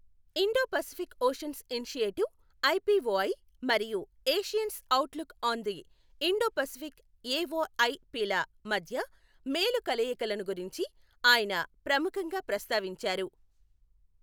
Indo Pacific oceans initiative IPOI మరియు ASEAN's outlook on the Indo Pacific AOIP ల మధ్య మేలు కలయికలను గురించి ఆయన ప్రముఖంగా ప్రస్తావించారు.